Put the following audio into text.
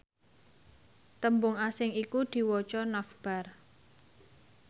tembung asing iku diwaca navbar